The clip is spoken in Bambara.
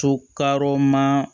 To karɔ ma